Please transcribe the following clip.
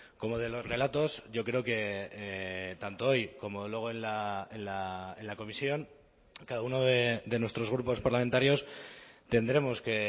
como de los relatos yo creo que tanto hoy como luego en la comisión cada uno de nuestros grupos parlamentarios tendremos que